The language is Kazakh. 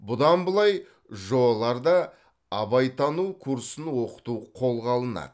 бұдан былай жоо ларда абайтану курсын оқыту қолға алынады